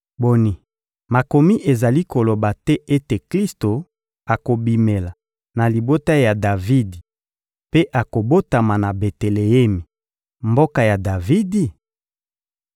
Boni, Makomi ezali koloba te ete Klisto akobimela na libota ya Davidi mpe akobotama na Beteleemi, mboka ya Davidi?»